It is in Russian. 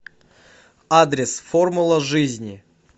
адрес формула жизни